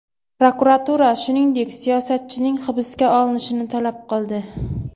Prokuratura, shuningdek, siyosatchining hibsga olinishini talab qildi.